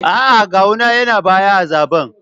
A’a, Gawuna yana baya a zaɓen